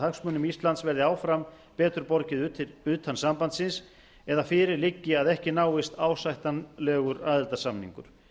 hagsmunum íslands verði áfram betur borgið utan sambandsins eða fyrir liggi að ekki náist ásættanlegur aðildarsamningur